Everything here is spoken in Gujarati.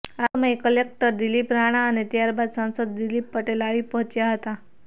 આ સમયે કલેકટર દિલીપ રાણા અને ત્યારબાદ સાંસદ દિલીપ પટેલ આવી પહોંચ્યા હતા